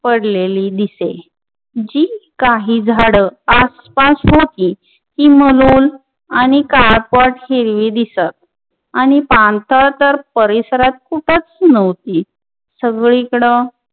पडलेली दिसेल जी काही झाड आसपास होती मरूम आणि काळपट हिरवी दिसत आणि पानसर तर परिसरात कुठंच नव्हती सगळीकडे